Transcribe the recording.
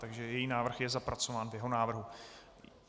Takže její návrh je zapracován v jeho návrhu.